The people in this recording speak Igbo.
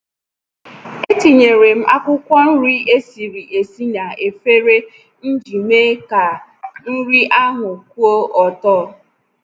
Etinyere m akwụkwọ nri esiri esi n'efere m iji mee ka nri ahụ kwụọ ọtọ.